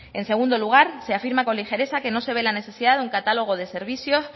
en segundo lugar se afirma con ligereza que no se ve la necesidad de un catálogo de servicios